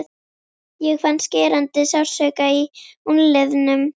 Ég fann skerandi sársauka í úlnliðnum.